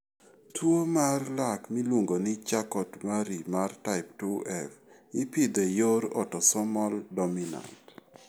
Tuwo mar lak miluongo ni Charcot Marie mar type 2F ipidho e yor autosomal dominant.